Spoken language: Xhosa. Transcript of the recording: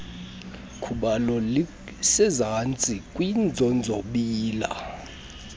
khubalo lisezantsi kwiinzonzobila